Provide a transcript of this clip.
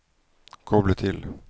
koble til